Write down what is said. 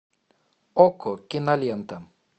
окко кинолента